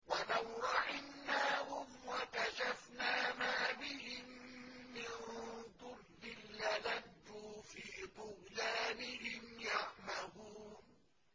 ۞ وَلَوْ رَحِمْنَاهُمْ وَكَشَفْنَا مَا بِهِم مِّن ضُرٍّ لَّلَجُّوا فِي طُغْيَانِهِمْ يَعْمَهُونَ